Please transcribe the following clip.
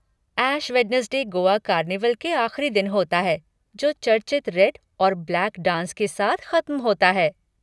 ऐश Wednesday Goa carnival के आख़िरी दिन होता है जो चर्चित रेड और ब्लैक डांस के साथ ख़त्म होता है।